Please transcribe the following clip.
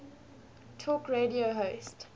talk radio hosts